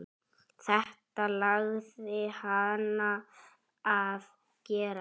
Þetta langaði hana að gera.